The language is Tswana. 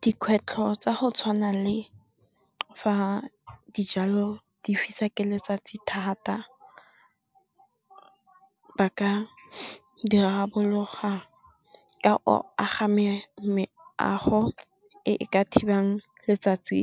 Dikgwetlho tsa go tshwana le fa dijalo di fisa ke letsatsi thata, ba ka dirarabola ka go aga meago e e ka thibang letsatsi